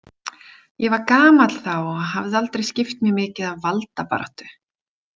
Ég var gamall þá og hafði aldrei skipt mér mikið af valdabaráttu.